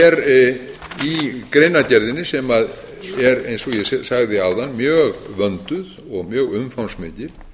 er í greinargerðinni sem er eins og ég sagði áðan mjög vönduð og mjög umfangsmikil